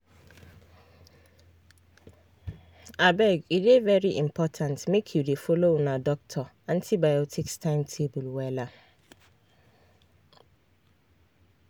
abege dey very important make you dey follow una doctor antibiotics timetable wella